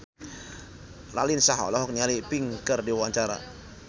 Raline Shah olohok ningali Pink keur diwawancara